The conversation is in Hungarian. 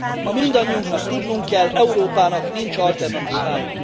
Ma mindannyiunknak tudnunk kell Európának nincs alternatívája!